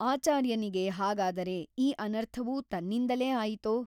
ಆಚಾರ್ಯನಿಗೆ ಹಾಗಾದರೆ ಈ ಅನರ್ಥವೂ ತನ್ನಿಂದಲೇ ಆಯಿತೋ?